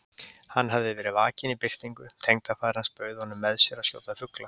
Hann hafði verið vakinn í birtingu: tengdafaðir hans bauð honum með sér að skjóta fugla.